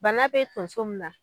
Bana bɛ tonso mun na.